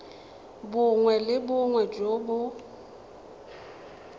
bongwe le bongwe jo bo